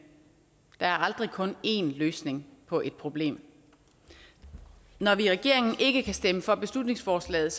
der er aldrig kun en løsning på et problem når vi i regeringen ikke kan stemme for beslutningsforslaget